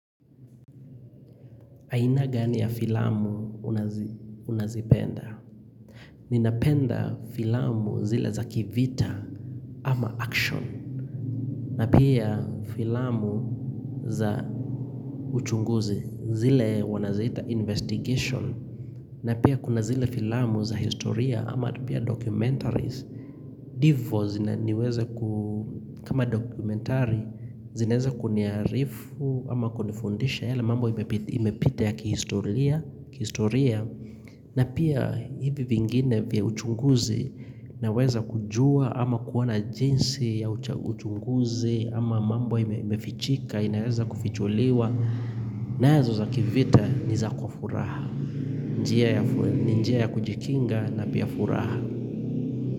Aina gani ya filamu unazipenda? Ninapenda filamu zile za kivita ama action. Na pia filamu za uchunguzi zile wanaziita investigation. Na pia kuna zile filamu za historia ama pia documentaries. Hivo kama doqumentari zinaweza kuniarifu ama kunifundisha yale mambo imepita ya kihistoria na pia hivi vingine vya uchunguzi Naweza kujua ama kuwa na jinsi ya uchunguzi ama mambo imefichika inaweza kufichuliwa nazo za kivita nizakufuraha Njiya ya kujikinga na pia furaha.